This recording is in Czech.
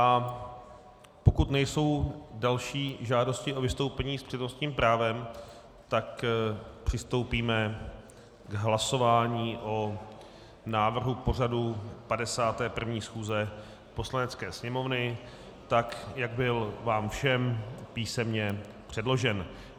A pokud nejsou další žádosti o vystoupení s přednostním právem, tak přistoupíme k hlasování o návrhu pořadu 51. schůze Poslanecké sněmovny, tak jak byl vám všem písemně předložen.